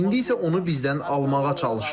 İndi isə onu bizdən almağa çalışırlar.